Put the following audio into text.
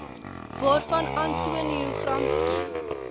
waarvan antonio gramsci